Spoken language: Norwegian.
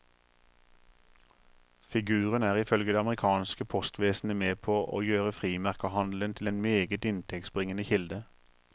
Figuren er ifølge det amerikanske postvesenet med på å gjøre frimerkehandelen til en meget inntektsbringende kilde.